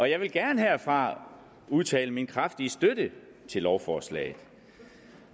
jeg vil gerne herfra udtale min kraftige støtte til lovforslaget